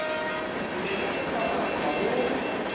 ke ne kekopa matlaa ho